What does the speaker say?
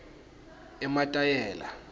emathayela